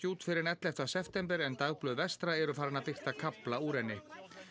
út fyrr en ellefta september en dagblöð vestra eru farin að birta kafla úr henni